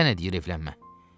Kim sənə deyir evlənmə.